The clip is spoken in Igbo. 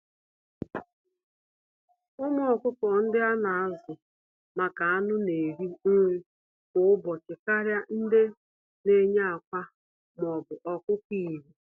Ụmụ ọkụkọ ndị ana-azu-maka-anụ̀ n'eri nri kwá ụbọchị karịa ndị neyi ákwà m'obu ọkụkọ Igbo.